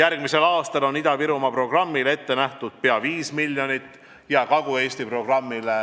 Järgmisel aastal on Ida-Virumaa programmile ette nähtud pea 5 miljonit eurot ja Kagu-Eesti programmile